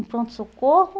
No pronto-socorro,